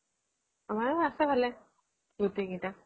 অ আছে ভালেই গোটেই কেইটা